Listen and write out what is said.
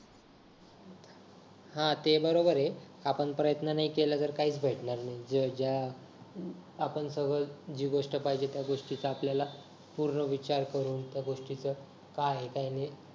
हा ते बरोबरय आपण प्रयत्न नाही केला तर काहीच भेटणार नाहीये जेव्हा जेव्हा आपण समज जी गोष्ट पाहिजे त्या गोष्टीचा आपल्याला पूर्ण विचार करून त्या गोष्टीत काय काय नाही